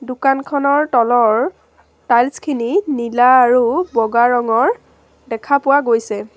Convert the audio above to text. দোকানখনৰ তলৰ তাইলছখিনি নীলা আৰু বগা ৰঙৰ দেখা পোৱা গৈছে।